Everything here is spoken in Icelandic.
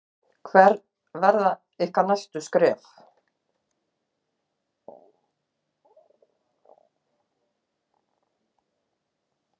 Ásgeir Erlendsson: Hver verða ykkar næstu skref?